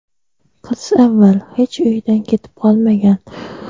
qiz avval hech uyidan ketib qolmagan.